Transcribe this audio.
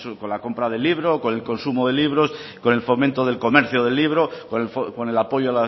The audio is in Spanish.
con la compra del libro con el consumo de libros con el fomento del comercio del libro con el apoyo